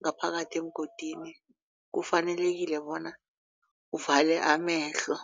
ngaphakathi emgodini kufanelekile bona uvale amehlo.